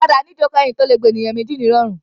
Ọ̀kadà ní ìjókòó ẹ̀yìn tí ó le gba ènìyàn méjì ní ìrọ̀rùn.